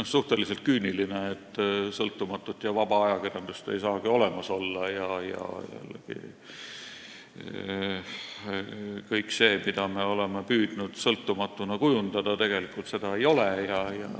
on suhteliselt küüniline: sõltumatut ja vaba ajakirjandust ei saagi olemas olla ning kõik see, mida me oleme püüdnud sõltumatuna kujundada, seda tegelikult ei ole.